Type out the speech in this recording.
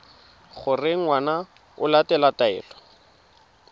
gore ngwana o latela taelo